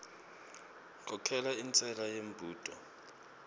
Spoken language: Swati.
khokhela intshela yembudo